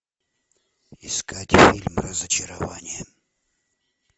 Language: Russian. искать фильм разочарование